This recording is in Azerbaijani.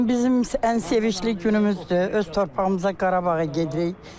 Bu gün bizim ən sevincli günümüzdür, öz torpağımıza, Qarabağa gedirik.